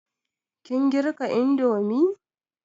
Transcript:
Kin girka indomi?